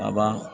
A ban